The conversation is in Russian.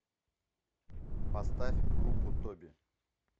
поставь группу тоби